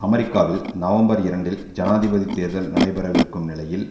அமெரிக்காவில் நவம்பர் இரண்டில் ஜனாதிபதி தேர்தல் நடைபெறவிருக்கும் நிலையில்